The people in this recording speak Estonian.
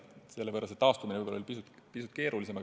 Sellepärast oli see taastumine pisut keerulisem.